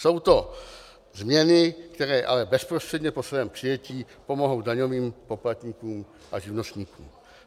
Jsou to změny, které ale bezprostředně po svém přijetí pomohou daňovým poplatníkům a živnostníkům.